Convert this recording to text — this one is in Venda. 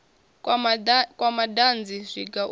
kwa madanzi zwiga zwa u